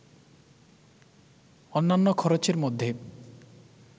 অন্যান্য খরচের মধ্যে